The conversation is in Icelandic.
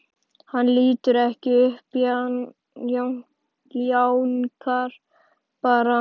Hann lítur ekki upp, jánkar bara.